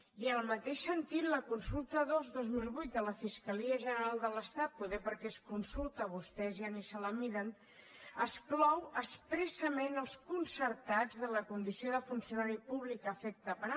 i en el mateix sentit la consulta dos dos mil vuit de la fiscalia general de l’estat potser perquè és consulta vostès ja ni se la miren exclou expressament els concertats de la condició de funcionari públic a efecte penal